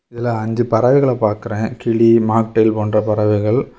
இதுல அஞ்சு பறவைகள பாக்கிரே கிளி மாக்டேள் போன்ற பறவைகள்.